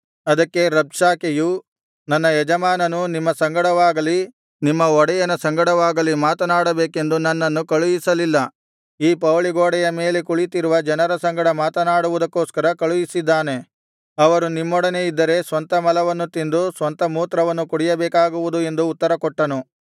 ಅದಕ್ಕೆ ರಬ್ಷಾಕೆಯು ನನ್ನ ಯಜಮಾನನು ನಿಮ್ಮ ಸಂಗಡವಾಗಲಿ ನಿಮ್ಮ ಒಡೆಯನ ಸಂಗಡವಾಗಲಿ ಮಾತನಾಡಬೇಕೆಂದು ನನ್ನನ್ನು ಕಳುಹಿಸಲಿಲ್ಲ ಈ ಪೌಳಿಗೋಡೆಯ ಮೇಲೆ ಕುಳಿತಿರುವ ಜನರ ಸಂಗಡ ಮಾತನಾಡುವುದಕ್ಕೋಸ್ಕರ ಕಳುಹಿಸಿದ್ದಾನೆ ಅವರು ನಿಮ್ಮೊಡನೆ ಇದ್ದರೆ ಸ್ವಂತ ಮಲವನ್ನು ತಿಂದು ಸ್ವಂತ ಮೂತ್ರವನ್ನು ಕುಡಿಯಬೇಕಾಗುವುದು ಎಂದು ಉತ್ತರಕೊಟ್ಟನು